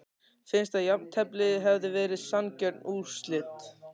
Finnst að jafntefli hefði verið sanngjörn úrslit?